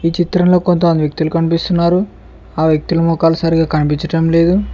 ఈ చిత్రంలో కొంత వ్యక్తులు కనిపిస్తున్నారు ఆ వ్యక్తుల మొఖాలు సరిగ్గా కనిపించటం లేదు.